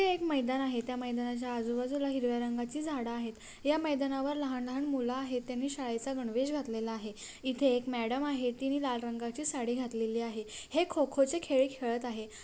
एक मैदान आहे त्या मैदानच्या आजूबाजुला हिरव्या रंगची झाड आहेत ह्या मैदानावर लहान लहान मूल आहेत त्यानी शाळेचा गणवेश घातलेला आहे इथे एक मॅडम आहे तिनी लाल रंगची साड़ी घातलेली आहे हे खो-खो चे खेळ खेळत आहे.